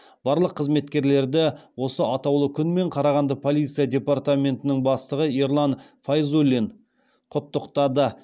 барлық қызметкерлерді осы атаулы күнмен қарағанды полиция департаментінің бастығы ерлан файзуллин құттықтады